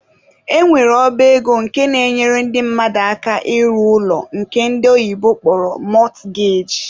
E nwere ọba ego nke na-enyere ndị mmadụ aka ịrụ ụlọ nke ndi oyibo kpọrọ mortgage.